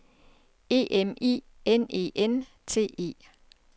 E M I N E N T E